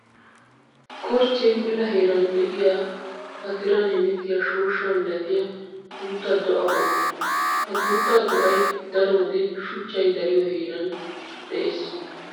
Korchche mela heeran de'iya ba tiran hemettiya shooshsha milattiya guuta do'a qommo. Ha guutta do'ay daro wode shuchchay dariyo heera dosees.